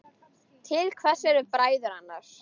Til hvers eru bræður annars?